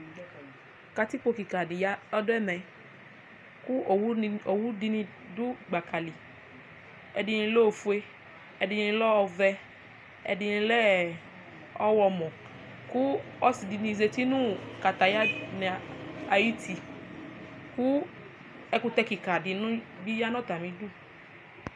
katikpo keka di ya ɔdo ɛmɛ kò owu ni di ni do gbaka li ɛdini lɛ ofue ɛdini lɛ ɔvɛ ɛdini lɛ ɔwlɔmɔ kò ɔse di ni zati no kataya ni ayiti kò ɛkutɛ keka di no bi ya n'atami du